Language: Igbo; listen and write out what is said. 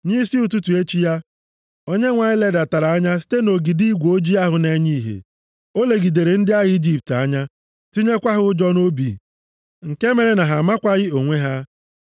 Nʼisi ụtụtụ echi ya, Onyenwe anyị ledatara anya site nʼogidi igwe ojii ahụ na-enye ihe. O legidere ndị agha Ijipt anya, tinyekwa ha ụjọ nʼobi nke mere na ha amakwaghị onwe ha.